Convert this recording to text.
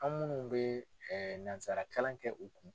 An minnu bɛ nansara kalan kɛ u kun,